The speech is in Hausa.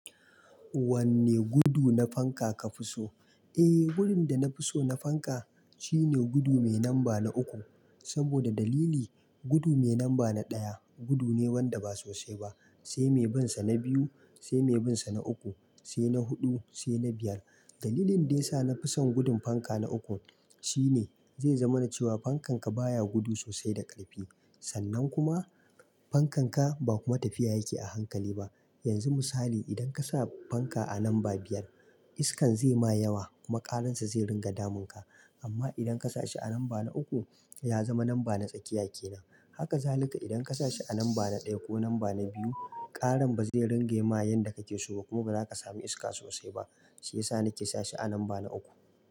Wanne gudu na fanka ka fi so? Eh, gudun da na fi so na fanka shine gudu mai lamba na uku. Saboda dalili, gudu mai namba na ɗaya gudu ne wanda ba sosai ba, sai mai bin sa na biyu, sai mai bin sa na uku, sai na huɗu, sai na biyar. Dalilin daya sa na fi son gudun fanka na uku shine zai zama na cewa fankan ka baya gudu sosai da ƙarfi. Sannan kuma fankan ka ba kuma tafiya yake a hankali ba. Yanzu misali, idan ka sa fanka a lamba biyar, iskan zai ma yawa kuma ƙararsa zai ringa damun ka. Amma idan ka sashi a lamba na uku, ya zama lamba na tsakiya ke nan. Haka zalika idan ka sashi a lamba na ɗaya ko lamba na biyu, ƙaran ba zai ringa ma yanda kake so ba kuma ba za ka samu iska sosai ba. Shi ya sa nake sashi a lamba na uku.